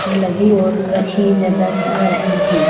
लगी और रखी नजर आ रही हैं।